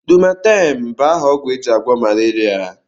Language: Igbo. Lumaten bu aha ogwu eji agwo malaria.